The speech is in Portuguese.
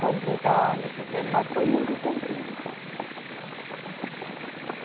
Completar, não sei o quê, mas foi muito comprido.